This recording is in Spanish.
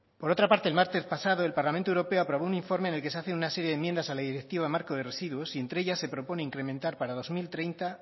por otra parte el martes pasado el parlamento europeo aprobó un informe en el que se hacen una serie de enmiendas a la directiva marco de residuos y entre ellas se propone incrementar para dos mil treinta